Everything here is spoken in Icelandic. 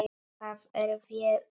Það er vel, sagði Ari.